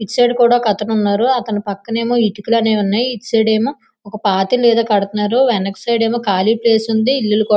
ఇటు సైడ్ కూడా ఒక అతను ఉన్నాడు.అతని పక్కన ఏమో ఇటుకుల ఉన్నాయి. ఇటు సైడ్ ఏమో ఒక పాత ఇల్లు ఏదో కడుతున్నారు.వెనుక సైడ్ ఏమో కాలి ప్లేస్ ఉంది.ఇల్లులు కూడా--